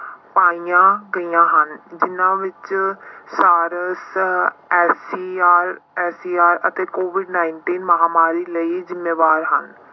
ਪਾਈਆਂ ਗਈਆਂ ਹਨ ਜਿਹਨਾਂ ਵਿੱਚ SARSSER, SAR ਅਤੇ COVID nineteen ਮਹਾਂਮਾਰੀ ਲਈ ਜ਼ਿੰਮੇਵਾਰ ਹਨ।